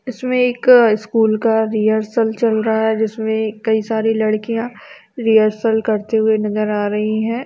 इसमे एक स्कूल का रिहर्सल चल रहा है जिसमे कई सारी लड़किया रिहर्सल करते हुए नजर आ रही है।